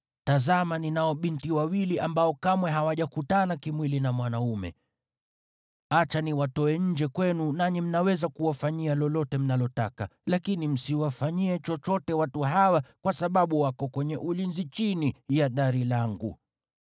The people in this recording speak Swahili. Tazama, ninao binti wawili ambao kamwe hawajakutana kimwili na mwanaume. Acha niwatoe nje kwenu, nanyi mnaweza kuwafanyia lolote mnalotaka. Lakini msiwafanyie chochote watu hawa, kwa sababu wako kwenye ulinzi chini ya dari langu.”